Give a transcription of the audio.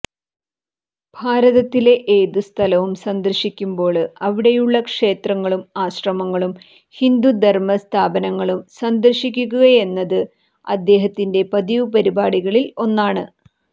ഭാരതത്തിലെ ഏതുസ്ഥലം സന്ദര്ശിക്കുമ്പോള് അവിടെയുള്ള ക്ഷേത്രങ്ങളും ആശ്രമങ്ങളും ഹിന്ദുധര്മ സ്ഥാപനങ്ങളും സന്ദര്ശിക്കുകയെന്നത് അദ്ദേഹത്തിന്റെ പതിവ് പരിപാടികളില് ഒന്നാണ്